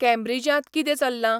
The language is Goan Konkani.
कँब्रिजांत कितें चल्लां